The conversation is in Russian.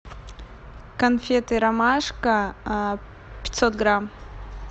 конфеты ромашка пятьсот грамм